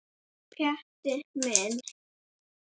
Pjatti minn.